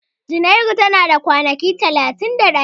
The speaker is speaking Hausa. Junairu ta a da kwanaki talatin da ɗaya.